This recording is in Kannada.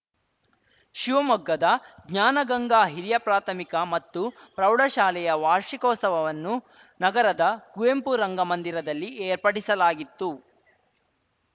ಶಿವಮೊಗ್ಗದ ಜ್ಞಾನಗಂಗಾ ಹಿರಿಯ ಪ್ರಾಥಮಿಕ ಮತ್ತು ಪ್ರೌಢಶಾಲೆಯ ವಾರ್ಷಿಕೋತ್ಸವವನ್ನು ನಗರದ ಕುವೆಂಪು ರಂಗಮಂದಿರದಲ್ಲಿ ಏರ್ಪಡಿಸಲಾಗಿತ್ತು